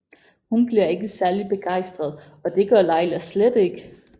Hun bliver ikke særlig begejstret og det gøre Leila slet ikke